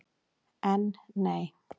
En. nei.